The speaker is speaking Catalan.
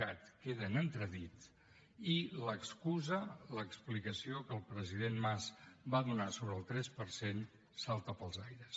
cat queda en entredit i l’excusa l’explicació que el president mas va donar sobre el tres per cent salta pels aires